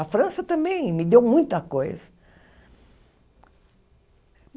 A França também me deu muita coisa.